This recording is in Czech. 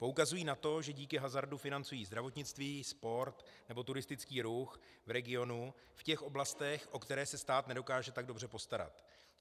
Poukazují na to, že díky hazardu financují zdravotnictví, sport nebo turistický ruch v regionu v těch oblastech, o které se stát nedokáže tak dobře postarat.